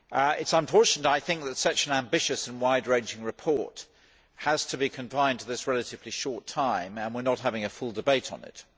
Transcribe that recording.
It is unfortunate that such an ambitious and wide ranging report has to be confined to this relatively short time and we are not having a full debate on it.